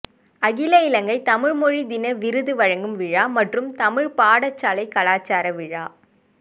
அகில இலங்கை தமிழ் மொழி தின விருது வழங்கும் விழா மற்றும் தமிழ் பாடசாலை கலாச்சார விழா